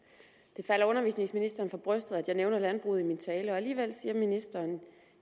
det falder undervisningsministeren for brystet at jeg nævner landbruget i min tale og alligevel siger ministeren